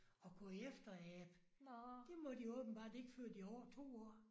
Og kunne efterabe. Det må de åbenbart ikke før de er 2 år